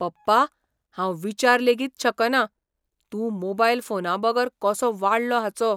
पप्पा, हांव विचार लेगीत शकना, तूं मोबायल फोना बगर कसो वाडलो हाचो.